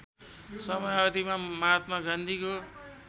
समयावधिमा महात्मा गान्धीको